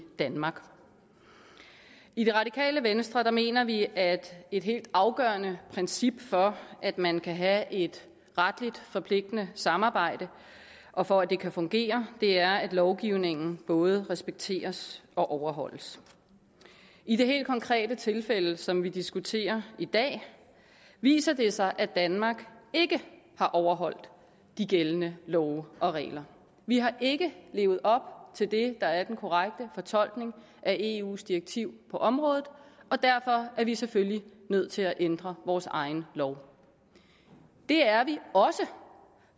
danmark i radikale venstre mener vi at et helt afgørende princip for at man kan have et retligt forpligtende samarbejde og for at det kan fungere er at lovgivningen både respekteres og overholdes i det helt konkrete tilfælde som vi diskuterer i dag viser det sig at danmark ikke har overholdt de gældende love og regler vi har ikke levet op til det der er den korrekte fortolkning af eus direktiv på området og derfor er vi selvfølgelig nødt til at ændre vores egen lov det er vi også